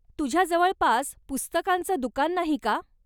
तुझ्या जवळपास पुस्तकांचं दुकान नाही का?